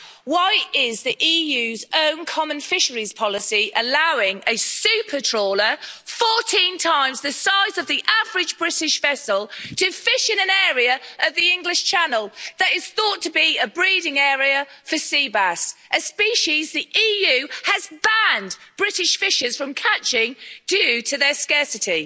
Why is the EU's own common fisheries policy allowing a super trawler, 14 times the size of the average British vessel, to fish in an area of the English Channel that is thought to be a breeding area for seabass, a species the EU has banned British fishers from catching due to their scarcity?